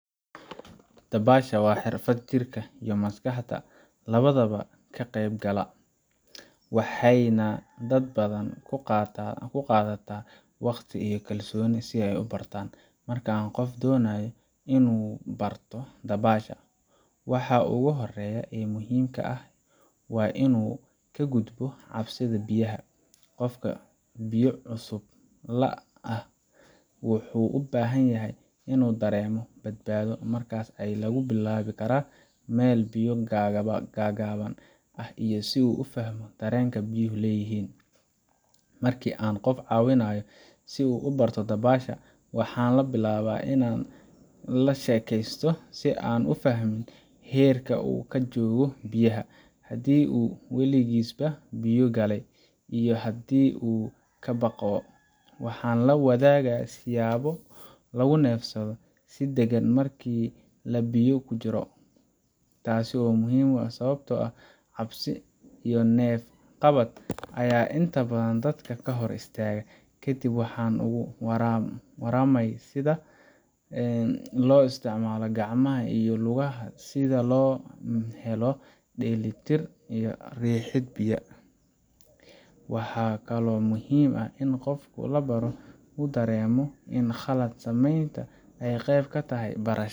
Dabaasha waa xirfad jirka iyo maskaxda labadaba ka qaybgala, waxayna dad badan ku qaadataa waqti iyo kalsooni si ay u bartaan. Marka qof uu doonayo inuu barto dabaasha, waxa ugu horreeya ee muhiimka ah waa inuu ka gudbo cabsida biyaha. Qofka biyo cusub la ah wuxuu u baahan yahay inuu dareemo badbaado, markaas ayaa lagu bilaabi karaa meel biyo gaagaaban ah si uu u fahmo dareenka biyuhu leeyihiin. Markii aan qof caawinayay si uu u barto dabaasha, waxaan bilaabay inaan la sheekaysto si aan u fahmo heerka uu ka joogo biyaha haddii uu waligiisba biyo galay, iyo haddii uu ka baqo. Waxaan la wadaagay siyaabo lagu neefsado si deggan marka la biyo ku jiro, taas oo muhiim ah sababtoo ah cabsi iyo neef-qabad ayaa inta badan dadka hor istaaga. Kadib waxaan uga warramay sida loo isticmaalo gacmaha iyo lugaha si loo helo dheelitir iyo riixid biyaha. Waxaa kaloo muhiim ah in qofka la barayo uu dareemo in khalad sameynta ay qayb ka tahay barashada.